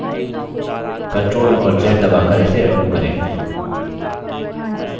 ctrl और z दबाकर इसे अन्डू करें